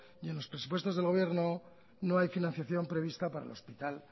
y en los presupuestos del gobierno no hay financiación prevista para el hospital